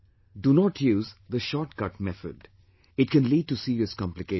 Do not use the short cut method; it can lead to serious complications